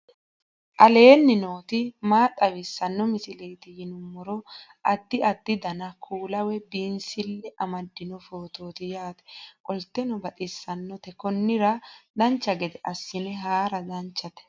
aleenni nooti maa xawisanno misileeti yinummoro addi addi dananna kuula woy biinsille amaddino footooti yaate qoltenno baxissannote konnira dancha gede assine haara danchate